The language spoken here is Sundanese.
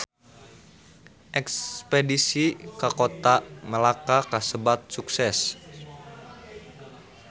Espedisi ka Kota Melaka kasebat sukses